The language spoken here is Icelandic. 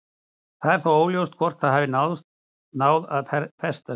Það er þó alls óljóst hvort það hafi náð að festast.